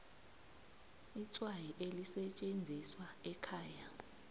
itswayi elisetjenziswa ekhaya